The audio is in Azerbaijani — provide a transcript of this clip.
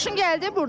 Xoşun gəldi burdan?